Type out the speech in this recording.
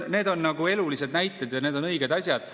Need on elulised näited ja need on õiged asjad.